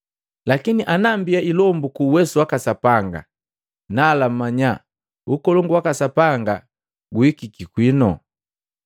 Lakini ana mbia ilombu kuuwesu waka Sapanga, nala mmanya ukolongu waka Sapanga guhikiki kwiinu.